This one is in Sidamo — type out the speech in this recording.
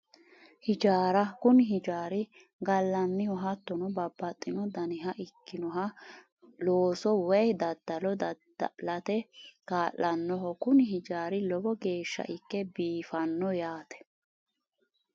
Hijaara kuni hijaari gallanniho hattono babbaxxino daniha ikkinoha looso woyi daddalo dadda'late kaa'lannoho kuni hijaari lowo geeshsha ikke biifanno yaate